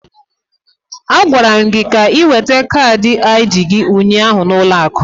A gwara gị ka ị weta kaadị ID gị ụnyaahụ n'ụlọ akụ.